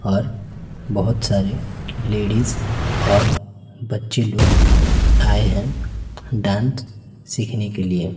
और बहोत सारे लेडिस और बच्चे लोग आए हैं डांस सीखने के लिए--